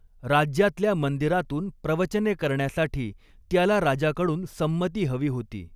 राज्यातल्या मंदिरातून प्रवचने करण्यासाठी त्याला राजाकडून संमती हवी होती.